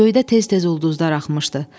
Göydə tez-tez ulduzlar axmışdı.